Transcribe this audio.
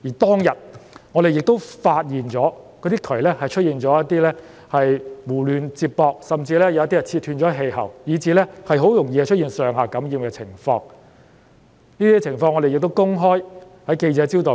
當天，我們發現有喉管被胡亂接駁，甚至有部分氣喉被切斷，以至很容易導致上、下樓層同一單位的居民感染病毒。